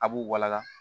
A b'u walaga